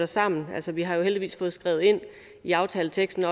sammen bagefter vi har jo heldigvis også fået skrevet ind i aftaleteksten